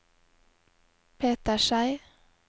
Peter Schei